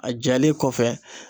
A jalen kɔfɛ